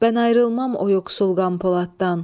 Mən ayrılmam o yoxsul Qam Poladdan.